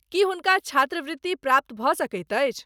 की हुनका छात्रवृत्ति प्राप्त भऽ सकैत अछि?